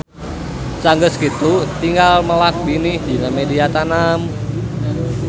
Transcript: Sanggeus kitu tinggal melak binih dina media tanam